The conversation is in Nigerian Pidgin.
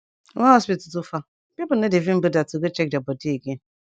wen hospital too far pipu no dey even boda to go check dia bodi again